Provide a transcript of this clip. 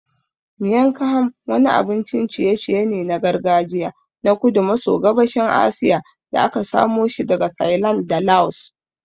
Miang kham wani abincin ciye-ciye ne na gargajiya na kudu maso gabashin Asiya da aka samoshi daga Thailand da Laos.